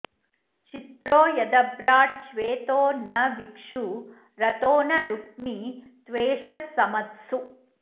चित्रो यदभ्राट् छ्वेतो न विक्षु रथो न रुक्मी त्वेषः समत्सु